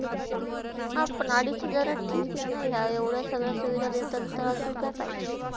हा, पण अडीच हजारात ठीक हे ना हे एवड्या सगळ्या सुविधा देतात ते अजुन काय पाहिजे.